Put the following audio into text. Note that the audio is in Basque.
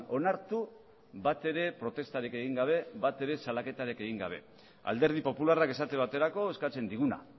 onartu batere protestarik egin gabe batere salaketarik egin gabe alderdi popularrak esate baterako eskatzen diguna